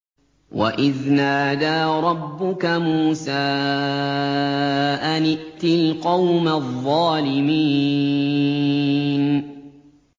وَإِذْ نَادَىٰ رَبُّكَ مُوسَىٰ أَنِ ائْتِ الْقَوْمَ الظَّالِمِينَ